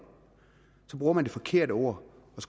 bruger man det forkerte ord